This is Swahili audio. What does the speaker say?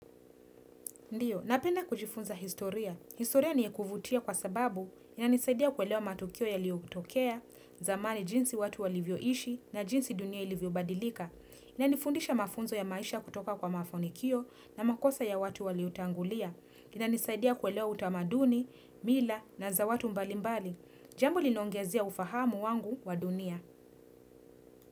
Ndio, napenna kujifunza historia. Historia ni ya kuvutia kwa sababu inanisaidia kuelewa matukio yaliyotokea, zamani jinsi watu walivyo ishi na jinsi dunia ilivyobadilika. Inanifundisha mafunzo ya maisha kutoka kwa mafanikio na makosa ya watu walio tangulia. Inanisaidia kuelewa utamaduni, mila na za watu mbalimbali. Jambo linongezia ufahamu wangu wa dunia.